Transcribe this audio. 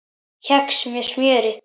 Kex með smjöri